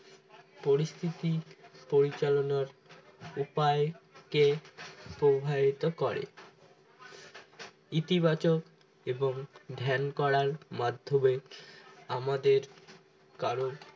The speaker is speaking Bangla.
পরিস্থিতি পরিচালনার উপায় কে প্রভাবিত করে ইতিবাচক এবং ধ্যান করার মাধ্যমে আমাদের কারো